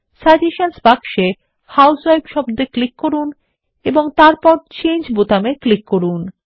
সাজেশনসহ বাক্সে হাউসউইফ শব্দ এ ক্লিক করুন এবং তারপর চেঞ্জ বোতামে ক্লিক করুন